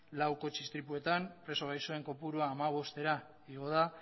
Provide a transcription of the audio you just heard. lau kotxe istripuetan preso gaixoen kopurua hamabostera igo da